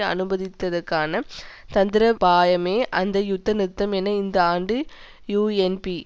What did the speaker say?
அனுமதிப்பதற்கான தந்திரோபாயமே அந்த யுத்த நிறுத்தம் என இந்த ஆண்டு யூஎன்பி